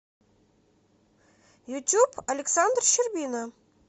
ютуб александр щербина